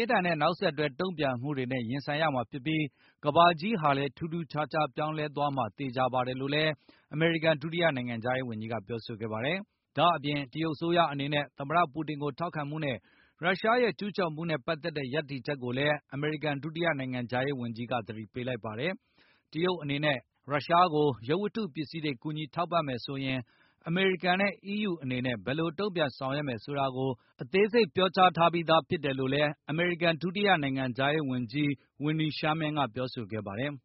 င်းထန်တဲ့နောက်ဆက်တွဲတုန့်ပြန်မှုတွေနဲ့ရင်ဆိုင်ရ မှာဖြစ်ပြီး၊ ကမ္ဘာကြီးဟာလည်းထူးထူးခြားခြားပြောင်းလဲ သွားမှာသေခြာပါတယ်လို့ လည်း အမေရိကန်ဒုတိယနိုင်ငံခြားရေးဝန်ကြီးကပြောဆိုခဲ့ပါတယ်။ ဒါ့အပြင် တရုတ်အစိုးရအနေနဲ့ သမတ ပူတင်ကိုထောက်ခံမှုနဲ့ ရုရှားရဲ့ကျူးကျော်မှုနဲ့ ပတ်သက်တဲ့ရပ်တ ည်ချက်ကိုလည်း အမေရိကန်ဒုတိယနိုင်ငံခြားရေးဝန်ကြီးက သတိပေးလိုက်ပါတယ်။ တရုတ်အနေနဲ့ ရုရှားကို ရုပ်ဝတ္တုပစည်းတွေ ကူညီထောက်ပံ့ မယ်ဆိုရင် အမေရိကန်နဲ့ EU အနေနဲ့ ဘယ်လိုတုန့် ပြန်ဆောင်ရွက်မယ်ဆိုတာကို အသေးစိပ် ပြောကြားထားပြီးသားဖြစ်တယ်လို့လည်း အမေရိကန်ဒုတိယနိုင်ငံခြား ရေးဝန်ကြီး Wenday Sherman ကပြောဆိုခဲ့ပါတယ်။